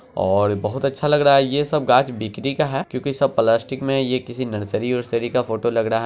और बहुत अच्छा लग रहा ये सब घास बिक्री का है क्योंकि सब प्लास्टिक में ये किसी नर्सरी बर्सरी का फोटो लग रहा है।